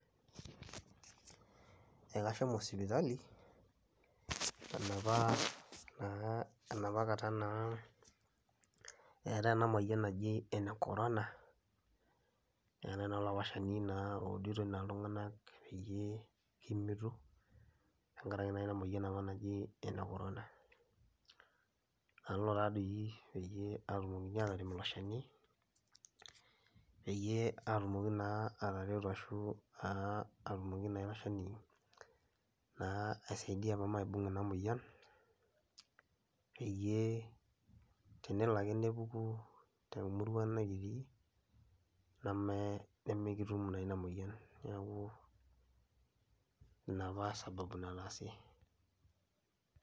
Ee kashomo sipitali enapa naa enapa kata naa eetai ena moyian naji ene korona, neetai naa olapa shani naa ouditoi naa iltung'anak peyie kimitu tenkarai naa ina moyian apa naji ene korona. Nalo taa dii peyie aatumokini aatarem ilo shani peyie aatumoki naa atareto ashu aa atumoki naa ilo shani naa aisaidia paa maibung' ina moyian peyie tenelo ake nepuku te murua nekitii neme nemekitum naa ina moyian. Neeku ina apa sababu nataasie.